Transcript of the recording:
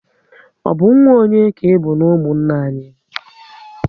Ọ bụ nwa onye ka ịbụ n'umunna anyị?